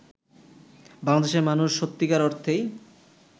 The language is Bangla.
বাংলাদেশের মানুষ সত্যিকার অর্থেই